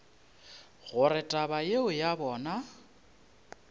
gore taba yeo ya bona